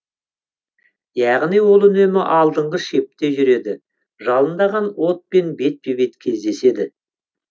яғни ол үнемі алдыңғы шепте жүреді жалындаған отпен бетпе бет кездеседі